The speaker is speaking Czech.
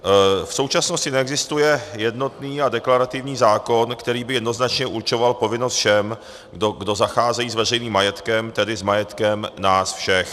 V současnosti neexistuje jednotný a deklarativní zákon, který by jednoznačně určoval povinnost všem, kdo zacházejí s veřejným majetkem, tedy s majetkem nás všech.